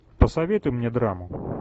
посоветуй мне драму